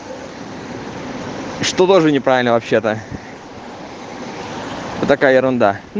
что даже неправильно вообще-то такая ерунда